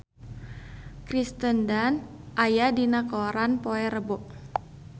Kirsten Dunst aya dina koran poe Rebo